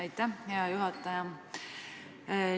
Aitäh, hea juhataja!